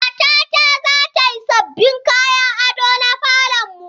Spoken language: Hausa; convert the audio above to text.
Matata za ta yi sabbin kayan ado na falon mu.